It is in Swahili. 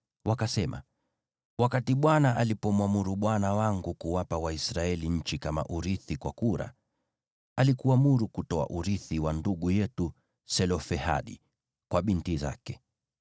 Wakasema, “ Bwana alipomwamuru bwana wangu kuwapa Waisraeli nchi kama urithi kwa kura, alikuamuru kutoa urithi wa ndugu yetu Selofehadi kwa binti zake.